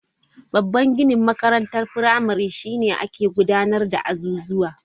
Babban ginin makarantar firamare shi ne ake gudanar da azuzuwa.